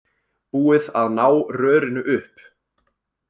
Búið að ná rörinu upp